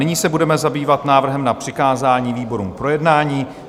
Nyní se budeme zabývat návrhem na přikázání výborům k projednání.